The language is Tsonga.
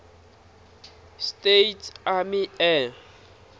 states army air